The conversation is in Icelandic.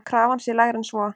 Krafan sé lægri en svo.